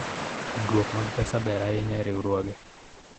Tudruok mag pesa ber ahinya e riwruoge